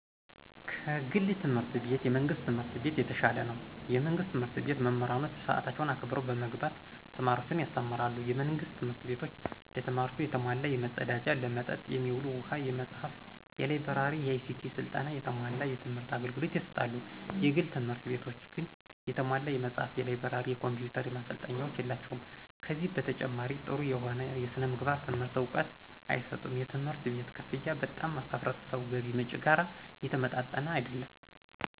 ከግል ትምህርት ቤት የመንግስት ትምህርት ቤት የተሻለ ነው። የመንግስት ትምህርት ቤት መምህሮች ሰአታቸውን አክብረው በመግባት ተማሪዎችን ያስተምራሉ። የመንግስት ትምህርት ቤቶች ለተማሪዎቹ የተሟላ የመፀዳጃ፣ ለመጠጥ የሚሆኑ ውሃ፣ የመፅሃፍ፣ የላይ ብረሪ፣ የአይሲቲ ስልጠና፣ የተሟላ የትምህር አገልግሎት ይሰጣሉ። የግል ትምህርት ቤቶች ግን የተሟላ የመጽሐፍ፣ የላይብረሪ፣ የኮምፒውተር ማሰልጠኛዎች የላቸውም። ከዚህ በተጨማሪ ጠሩ የሆነ የስነምግባር ትምህርት እውቀት አይሰጡም። የትምህርት ቤት ከፍያ በጣም ከህብረተሰቡ የገቢ ምንጭ ጋር የተመጣጠነ አይደለም።